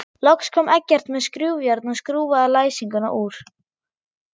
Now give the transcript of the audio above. Loks kom Eggert með skrúfjárn og skrúfaði læsinguna úr.